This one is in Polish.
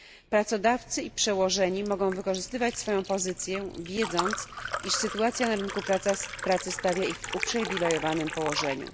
Pracodawcy i przełożeni mogą wykorzystywać swoją pozycję, wiedząc, iż sytuacja na rynku pracy stawia ich w uprzywilejowanym położeniu.